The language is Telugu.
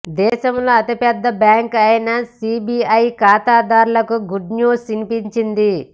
దేశంలో అతిపెద్ద బ్యాంకు అయిన ఎస్బీఐ ఖాతాదారులకు గుడ్న్యూస్ వినిపించింది